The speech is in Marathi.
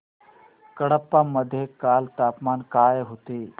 कडप्पा मध्ये काल तापमान काय होते